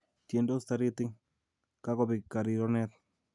Tiendos Taritik, kakobek karironet